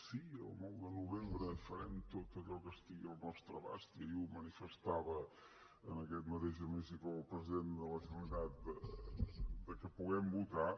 sí el nou de novembre farem tot allò que estigui al nostre abast i ahir ho manifestava en aquest mateix hemicicle el president de la generalitat perquè puguem votar